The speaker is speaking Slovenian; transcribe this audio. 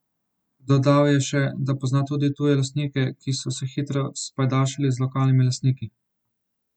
Dodal je še, da pozna tudi tuje lastnike, ki so se hitro spajdašili z lokalnimi lastniki.